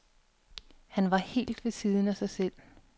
Han var helt ved siden af sig selv.